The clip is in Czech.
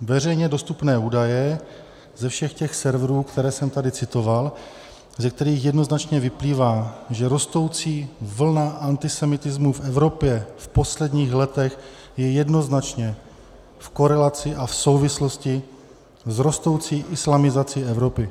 veřejně dostupné údaje ze všech těch serverů, které jsem tady citoval, ze kterých jednoznačně vyplývá, že rostoucí vlna antisemitismu v Evropě v posledních letech je jednoznačně v korelaci a v souvislosti s rostoucí islamizací Evropy.